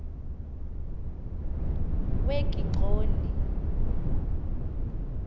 wekigxoni